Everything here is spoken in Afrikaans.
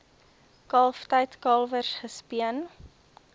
kalftyd kalwers gespeen